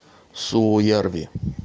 суоярви